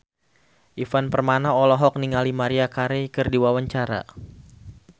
Ivan Permana olohok ningali Maria Carey keur diwawancara